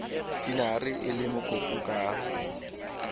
tinare e le mokopu ka